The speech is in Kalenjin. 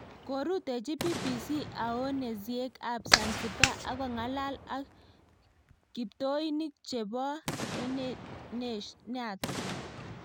Korutechi BBC aoneziek ab zanzibar akongalal ak kipoitinik cheboa enet naton